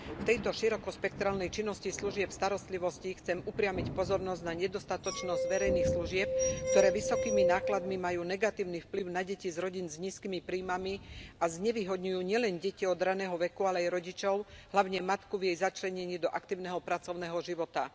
V tejto širokospektrálnej činnosti služieb starostlivosti chcem upriamiť pozornosť na nedostatočnosť verejných služieb, ktoré vysokými nákladmi majú negatívny vplyv na deti z rodín s nízkymi príjmami a znevýhodňujú nielen deti od raného veku, ale aj rodičov, hlavne matku, v jej začlenení do aktívneho pracovného života.